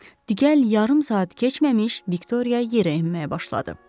Digər yarım saat keçməmiş Viktoriya yerə enməyə başladı.